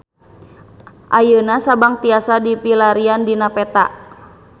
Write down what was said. Ayeuna Sabang tiasa dipilarian dina peta